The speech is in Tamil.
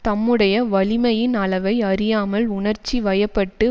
தம்முடைய வலிமையின் அளவை அறியாமல் உணர்ச்சி வயப்பட்டு